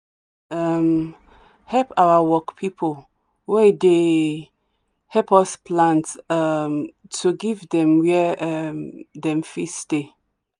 um help our work people wey dey help us plant um to give them where um them fit stay